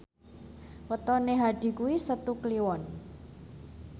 wetone Hadi kuwi Setu Kliwon